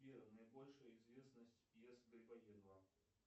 сбер наибольшая известность пьесы грибоедова